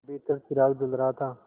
भीतर चिराग जल रहा था